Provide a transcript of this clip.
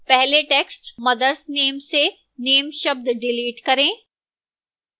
पहले text mothers name से name शब्द डिलीट करें